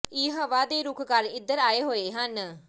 ਇਹ ਹਵਾ ਦੇ ਰੁੱਖ ਕਾਰਨ ਇਧਰ ਆਏ ਹੋਏ ਹਨ